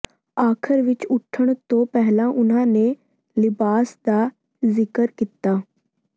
ਆਖਰ ਵਿੱਚ ਉੱਠਣ ਤੋਂ ਪਹਿਲਾਂ ਉਨ੍ਹਾਂ ਨੇ ਲਿਬਾਸ ਦਾ ਜ਼ਿਕਰ ਕੀਤਾ